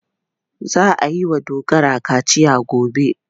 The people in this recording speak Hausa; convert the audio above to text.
Za a yi wa Dogara kaciya gobe.